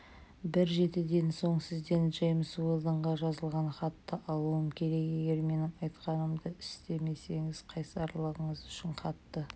бір жетіден соң сізден джеймс уэлдонға жазылған хатты алуым керек егер менің айтқанымды істемесеңіз қайсарлығыңыз үшін қатты